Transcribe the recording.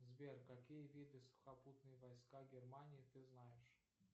сбер какие виды сухопутные войска германии ты знаешь